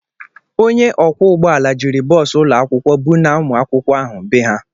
Onye ọkwọ ụgbọala jiri bọọsụ ụlọ akwụkwọ bunaa ụmụakwụkwọ ahụ bee ha.